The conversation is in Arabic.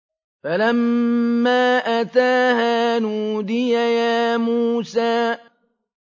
فَلَمَّا أَتَاهَا نُودِيَ يَا مُوسَىٰ